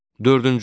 Dördüncü.